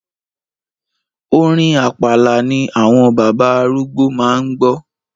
Orin Àpàlà ni àwọn bàbá arúgbó máa ń gbọ́.